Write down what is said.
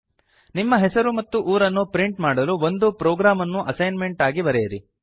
ನಿಮ್ಮ ಹೆಸರು ಮತ್ತು ಊರನ್ನು ಪ್ರಿಂಟ್ ಮಾಡಲು ಒಂದು ಪ್ರೊಗ್ರಾಮ್ ಅನ್ನು ಅಸೈನ್ಮೆಂಟ್ ಆಗಿ ಬರೆಯಿರಿ